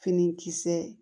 Finikisɛ